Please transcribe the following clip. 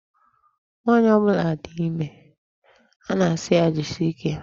Nwaanyị ọbụla dị ime, a na-asị ya jisie ike.